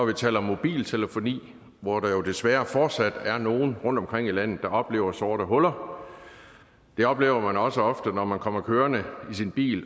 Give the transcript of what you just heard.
vi taler om mobiltelefoni hvor der jo desværre fortsat er nogle rundtomkring i landet der oplever sorte huller det oplever man også ofte når man kommer kørende i sin bil